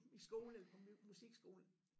I skolen eller på musikskolen